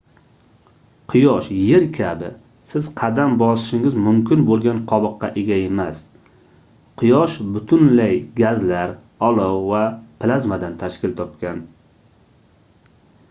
quyosh yer kabi siz qadam bosishingiz mumkin boʻlgan qobiqqa ega emas quyosh butunlay gazlar olov va plazmadan tashkil topgan